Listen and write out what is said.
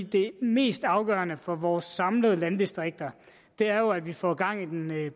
det mest afgørende for vores samlede landdistrikter er jo at vi får gang i den